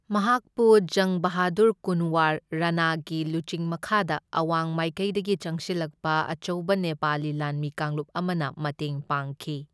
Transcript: ꯃꯍꯥꯛꯄꯨ ꯖꯪ ꯕꯍꯥꯗꯨꯔ ꯀꯨꯟꯋꯔ ꯔꯥꯅꯥꯒꯤ ꯂꯨꯆꯤꯡ ꯃꯈꯥꯗ ꯑꯋꯥꯡ ꯃꯥꯏꯀꯩꯗꯒꯤ ꯆꯪꯁꯤꯜꯂꯛꯄ ꯑꯆꯧꯕ ꯅꯦꯄꯥꯂꯤ ꯂꯥꯟꯃꯤ ꯀꯥꯡꯂꯨꯞ ꯑꯃꯅ ꯃꯇꯦꯡ ꯄꯥꯡꯈꯤ꯫